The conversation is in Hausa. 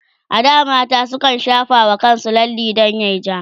a da mata sukan shafa wa kansu lalle dan yayi ja